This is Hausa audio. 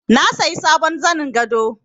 Na sayi sabon zanin gado